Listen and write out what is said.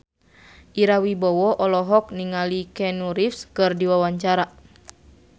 Ira Wibowo olohok ningali Keanu Reeves keur diwawancara